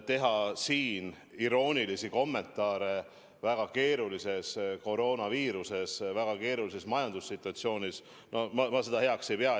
Teha iroonilisi kommentaare väga keerulises koroonaviiruse põhjustatud situatsioonis ja väga keerulises majandussituatsioonis – ma seda heaks tooniks ei pea.